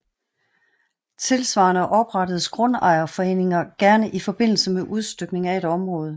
Tilsvarende oprettes grundejerforeninger gerne i forbindelse med udstykning af et område